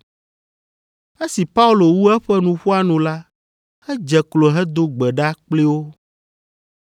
Esi Paulo wu eƒe nuƒoa nu la, edze klo hedo gbe ɖa kpli wo.